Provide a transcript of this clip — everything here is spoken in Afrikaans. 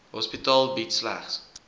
hospitaal bied slegs